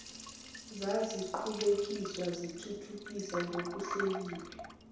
zaziqhubekiswa zithuthukiswa ngokuhleliwe